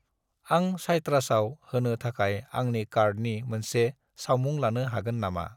आं साइट्रासआव होनो थाखाय आंनि कार्डनि मोनसे सावमुं लानो हागोन नामा?